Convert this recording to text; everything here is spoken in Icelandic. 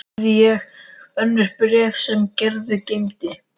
Einnig hafði ég önnur bréf sem Gerður geymdi.